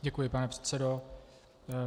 Děkuji, pane předsedo.